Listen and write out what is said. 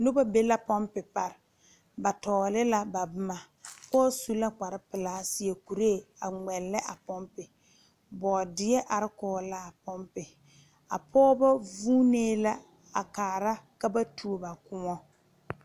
Noba be la ponpi pare ba tɔgle la ba boma pɔge su la kpare pelaa a seɛ kuri a ŋmɛle a ponpi boodeɛ are kɔŋ la a ponpi a pɔgeba vuune la a kaare ka ba tuo ba kõɔ.